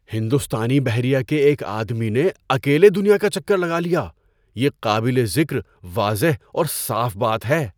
ہندوستانی بحریہ کے ایک آدمی نے اکیلے دنیا کا چکر لگا لیا۔ یہ قابل ذکر، واضح اور صاف بات ہے!